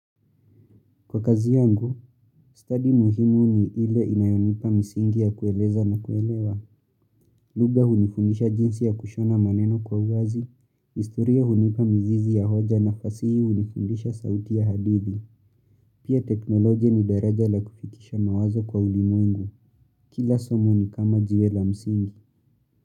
Kwa kazi yangu, stadi muhimu ni ile inayonipa msingi ya kueleza na kuelewa, lugha hunifundisha jinsi ya kushona maneno kwa uwazi, historia hunipa mzizi ya hoja na fasihi hunifundisha sauti ya hadithi, pia teknolojia ni daraja la kufikisha mawazo kwa ulimwengu, kila somo ni kama jiwe la msingi.